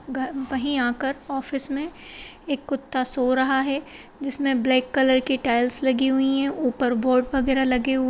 अ वही आकर ऑफिस मे एक कुत्ता सो रहा है जिसमे ब्लॉक कलर की टाइल्स लगी हुई है ऊपर बोर्ड वगैरा लगी हु--